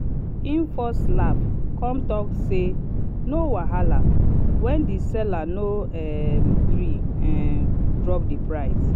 en first laugh come talk say “no wahala” when the seller no um gree um drop the price.